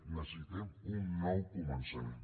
necessitem un nou començament